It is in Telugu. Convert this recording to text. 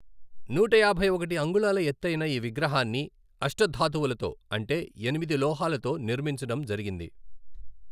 నూట యాభై ఒకటి అంగుళాల ఎత్తయిన ఈ విగ్రహాన్ని అష్టధాతువులతో, అంటే ఎనిమిది లోహాలతో, నిర్మించడం జరిగింది.